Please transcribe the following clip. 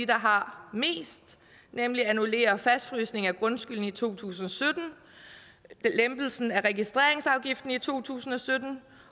der har mest nemlig annullerer fastfrysningen af grundskylden i to tusind og sytten lempelsen af registreringsafgiften i to tusind og sytten